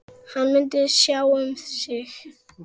Hann myndi sjá um sig.